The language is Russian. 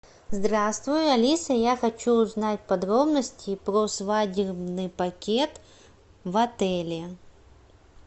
здравствуй алиса я хочу узнать подробности про свадебный пакет в отеле